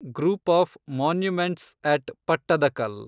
group of monuments at Pattadakal